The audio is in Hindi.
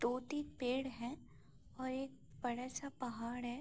दो तीन पेड़ है और एक बड़ा सा पहाड़ है।